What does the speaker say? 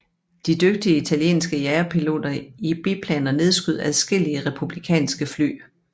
De dygtige italienske jagerpiloter i biplaner nedskød adskillige republikanske fly